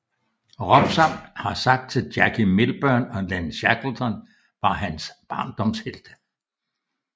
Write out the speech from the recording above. Robson har sagt at Jackie Milburn og Len Shackleton var hans barndomshelte